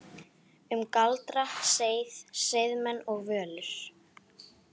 Um galdra, seið, seiðmenn og völur